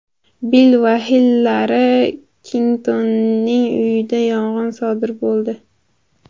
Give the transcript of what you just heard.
Bill va Hillari Klintonning uyida yong‘in sodir bo‘ldi.